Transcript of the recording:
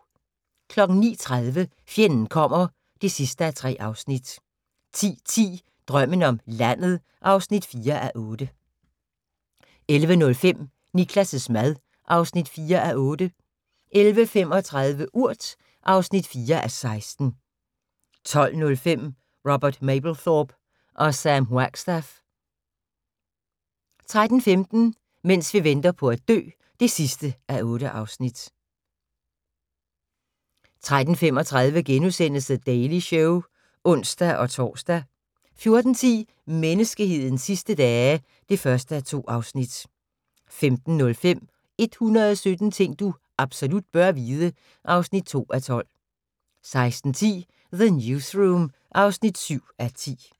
09:30: Fjenden kommer (3:3) 10:10: Drømmen om landet (4:8) 11:05: Niklas' mad (4:8) 11:35: Urt (4:16) 12:05: Robert Mapplethorpe og Sam Wagstaff 13:15: Mens vi venter på at dø (8:8) 13:35: The Daily Show *(ons-tor) 14:10: Menneskehedens sidste dage (1:2) 15:05: 117 ting du absolut bør vide (2:12) 16:10: The Newsroom (7:10)